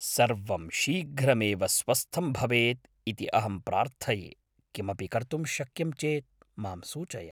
सर्वं शीघ्रमेव स्वस्थं भवेत् इति अहम् प्रार्थये; किमपि कर्तुं शक्यं चेत् माम् सूचय।